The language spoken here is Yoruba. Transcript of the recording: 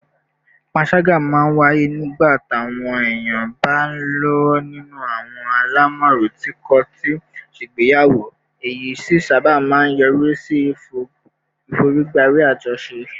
panṣaga máa ń wáyé nígbà táwọn èèyàn bá ń lọ́wọ́ nínú àwọn àlámọ̀rí tí kò tíì ṣègbéyàwó, èyí sì sábà máa ń yọrí sí ìforígbárí àjọṣe